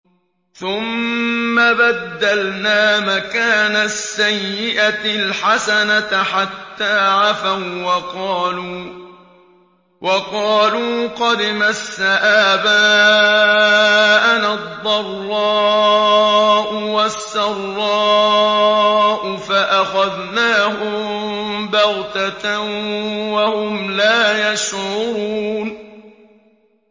ثُمَّ بَدَّلْنَا مَكَانَ السَّيِّئَةِ الْحَسَنَةَ حَتَّىٰ عَفَوا وَّقَالُوا قَدْ مَسَّ آبَاءَنَا الضَّرَّاءُ وَالسَّرَّاءُ فَأَخَذْنَاهُم بَغْتَةً وَهُمْ لَا يَشْعُرُونَ